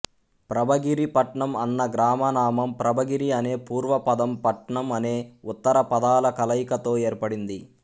ప్రభగిరిపట్నం అన్న గ్రామనామం ప్రభగిరి అనే పూర్వపదం పట్నం అనే ఉత్తరపదాల కలయికతో ఏర్పడింది